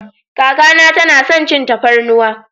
Kaka na ta na son cin tafarnuwa.